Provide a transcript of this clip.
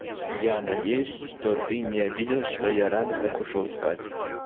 я надеюсь что ты не обиделась что я рано так ушёл спать